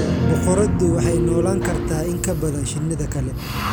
Boqoraddu waxay noolaan kartaa in ka badan shinnida kale.